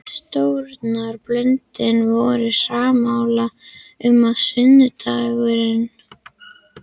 Stjórnarblöðin voru sammála um, að sunnudagurinn